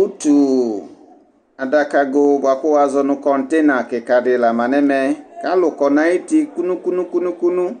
Utu adakago bʋakʋ wazɔnʋ kɔntena kika di la manʋ ɛmɛ, kʋ alʋkɔ nʋ ayʋ uti nʋkʋ nʋkʋ.